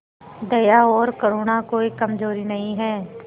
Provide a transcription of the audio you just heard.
दया और करुणा कोई कमजोरी नहीं है